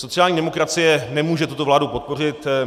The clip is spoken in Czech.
Sociální demokracie nemůže tuto vládu podpořit.